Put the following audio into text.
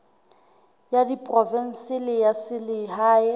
ya diprovense le ya selehae